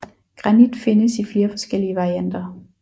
Granit findes i flere forskellige varianter